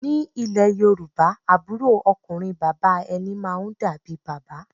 Ni ilẹ̀ Yorùbá, àbúrò ọkùnrin bàbá ẹni máa ń dàbí bàbá